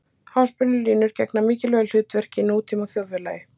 Háspennulínur gegna mikilvægu hlutverki í nútíma þjóðfélagi.